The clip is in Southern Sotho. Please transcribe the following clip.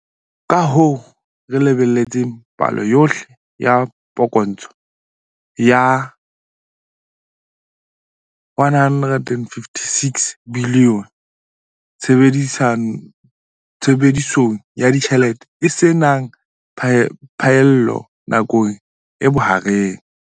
Kahoo, re lebelletse palo yohle ya phokotso ya R156 bilione tshebedisong ya ditjhelete e se nang phaello nakong e bohareng.